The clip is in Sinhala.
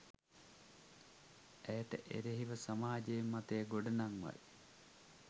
ඇයට එරෙහිව සමාජ මතය ගොඩනංවයි